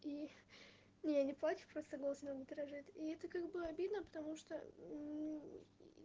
и не я не плачу просто голос немного дрожит и это как бы обидно потому что